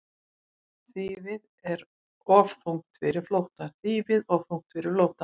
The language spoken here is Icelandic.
Þýfið of þungt fyrir flóttann